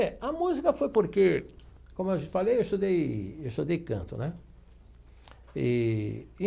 É, a música foi porque, como eu já falei, eu estudei eu estudei canto, né? Eee.